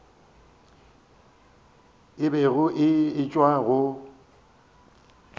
a bego a etšwa go